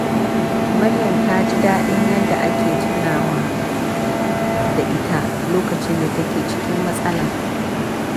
Maryam ta ji daɗin yadda ake tunawa da ita lokacin da take cikin matsala.